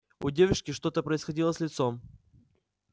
у девушки что-то происходило с лицом